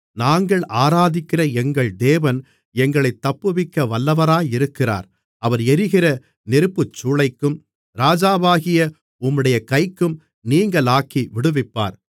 நாங்கள் ஆராதிக்கிற எங்கள் தேவன் எங்களைத் தப்புவிக்க வல்லவராயிருக்கிறார் அவர் எரிகிற நெருப்புச்சூளைக்கும் ராஜாவாகிய உம்முடைய கைக்கும் நீங்கலாக்கி விடுவிப்பார்